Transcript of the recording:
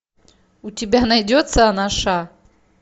у тебя найдется анаша